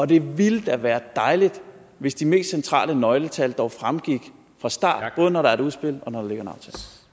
det ville da være dejligt hvis de mest centrale nøgletal dog fremgik fra start både når der er et udspil og